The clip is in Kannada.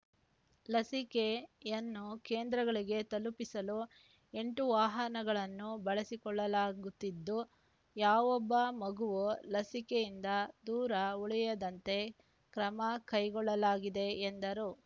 ಲಸಿಕೆ ಯನ್ನು ಕೇಂದ್ರಗಳಿಗೆ ತಲುಪಿಸಲು ಎಂಟು ವಾಹನಗಳನ್ನು ಬಳಸಿಕೊಳ್ಳಲಾಗುತ್ತಿದ್ದು ಯಾವೊಬ್ಬ ಮಗುವು ಲಸಿಕೆಯಿಂದ ದೂರ ಉಳಿಯದಂತೆ ಕ್ರಮ ಕೈಗೊಳ್ಳಲಾಗಿದೆ ಎಂದರು